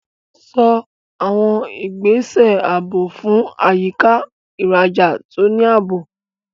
Ṣọ́ àwọn ìgbésẹ̀ ààbò fún àyíká ìrajà tó ní ààbò.